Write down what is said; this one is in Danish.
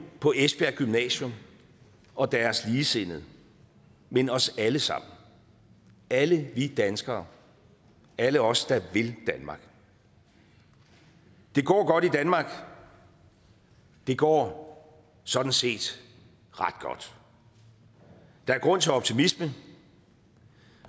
på esbjerg gymnasium og deres ligesindede men os alle sammen alle vi danskere alle os der vil danmark det går godt i danmark det går sådan set ret godt der er grund til optimisme